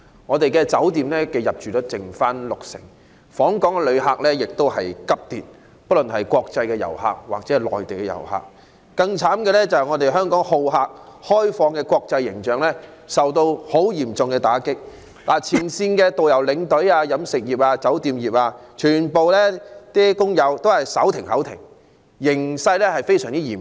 我們的酒店入住率只剩六成，訪港旅客——不論是國際遊客或內地遊客——亦急跌，更悽慘的是，香港好客及開放的國際形象受到極嚴重打擊，前線導遊、領隊、飲食及酒店業全部工友均手停口停，形勢非常嚴峻。